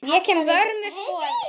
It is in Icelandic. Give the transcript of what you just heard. Ég kem að vörmu spori.